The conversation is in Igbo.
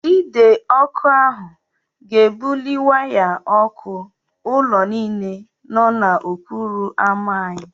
Ide ọkụ ahụ ga-ebuli waya ọkụ ụlọ niile nọ n'okporo ámá anyị.